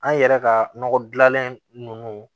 An yɛrɛ ka nɔgɔ dilanlen ninnu